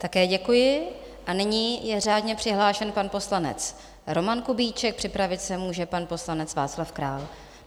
Také děkuji a nyní je řádně přihlášen pan poslanec Roman Kubíček, připravit se může pan poslanec Václav Král.